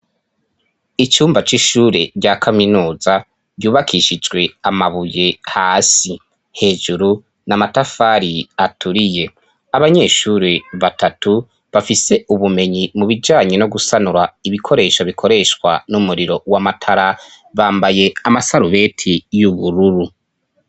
icyumba c'ishure rya kaminuza byubakishijwe amabuye hasi hejuru n'amatafari aturiye abanyeshuri batatu bafise ubumenyi mu bijanye no gusanura ibikoresho bikoreshwa n'umuriro wa matara bambaye amasarubeti y'ubururu